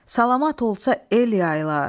Salamat olsa el yayılar.